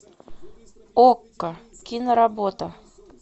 окко киноработа